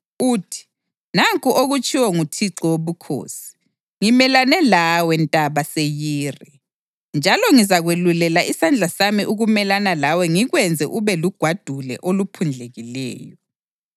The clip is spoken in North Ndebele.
uthi: ‘Nanku okutshiwo nguThixo Wobukhosi: Ngimelane lawe, Ntaba Seyiri, njalo ngizakwelula isandla sami ukumelana lawe ngikwenze ube lugwadule oluphundlekileyo.